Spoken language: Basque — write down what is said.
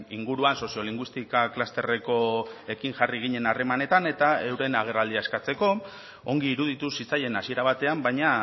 inguruan soziolinguistika klusterrekoekin jarri ginen harremanetan eta euren agerraldia eskatzeko ongi iruditu zitzaien hasiera batean baina